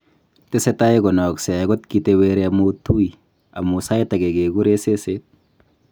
Tesetai konaaksei akot kiteweri amu tui, amu sait age kegure ' seseet'